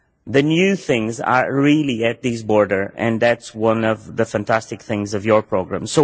The new things are really at this border and that is one of the fantastic things about your programme.